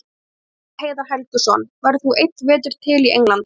Viðtal við Heiðar Helguson: Verður þú einn vetur til í Englandi?